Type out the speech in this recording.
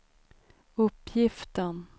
uppgiften